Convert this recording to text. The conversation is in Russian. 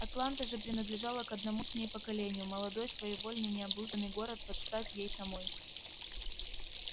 атланта же принадлежала к одному с ней поколению молодой своевольный необузданный город под стать ей самой